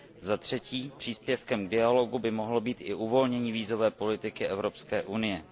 Zatřetí příspěvkem k dialogu by mohlo být i uvolnění vízové politiky Evropské unie.